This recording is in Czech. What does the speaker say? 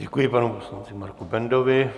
Děkuji panu poslanci Marku Bendovi.